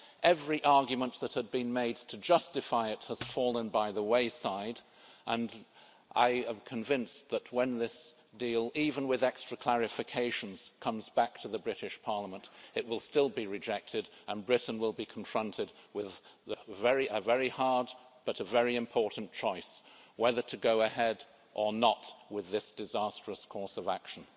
Every argument that had been made to justify it has fallen by the wayside, and I am convinced that when this deal even with extra clarifications comes back to the British Parliament, it will still be rejected and Britain will be confronted with a very hard, but very important, choice whether to go ahead or not with this disastrous course of action.